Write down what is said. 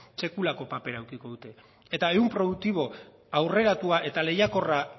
sekulako papera edukiko dute eta ehun produktibo aurreratua eta lehiakorra